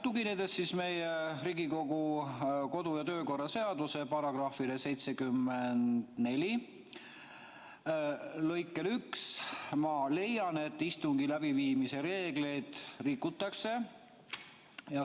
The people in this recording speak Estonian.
Tuginedes meie Riigikogu kodu- ja töökorra seaduse § 74 lõikele 1, ma leian, et istungi läbiviimise reegleid on rikutud.